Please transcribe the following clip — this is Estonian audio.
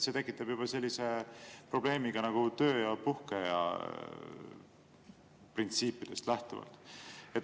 See tekitab probleemi ka töö‑ ja puhkeaja printsiipidest lähtuvalt.